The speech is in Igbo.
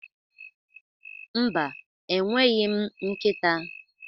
Mba, enweghị m nkịta.